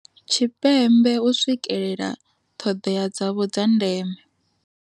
Tshipembe u swikelela ṱhodea dzavho dza ndeme.